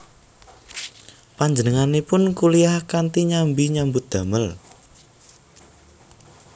Panjenenganipun kuliyah kanthi nyambi nyambut damel